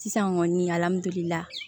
Sisan kɔni alamidula